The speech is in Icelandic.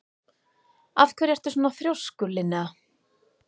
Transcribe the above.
Af hverju ertu svona þrjóskur, Linnea?